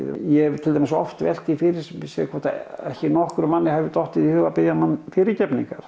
ég hef til dæmis oft velt því fyrir mér hvort ekki nokkrum manni hafi dottið í hug að biðja hana